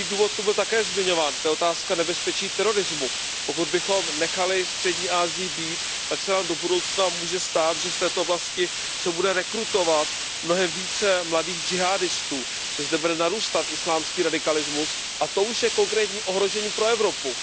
Druhý důvod zde byl také zmiňován, to je otázka nebezpečí terorismu. Pokud bychom nechali Střední Asii být, tak se nám do budoucna může stát, že se v této oblasti bude rekrutovat mnohem více mladých džihádistů, že zde bude narůstat islámský radikalismus, a to už je konkrétní ohrožení pro Evropu.